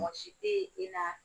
Mɔgɔsi teyi i na